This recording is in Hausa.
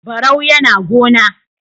Barau yAna gona